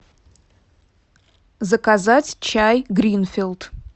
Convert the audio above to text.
заказать чай гринфилд